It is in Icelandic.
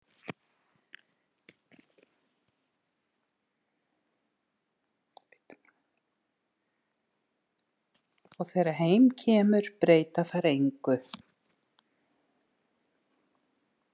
Og þegar heim kemur breyta þær engu.